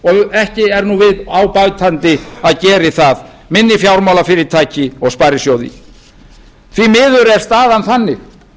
og ekki er nú á bætandi að geri það minni fjármálafyrirtæki og sparisjóði því miður er staðan þannig